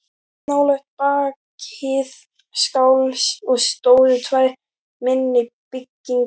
Stubburinn var upphaflega skáldsaga eftir Jóhann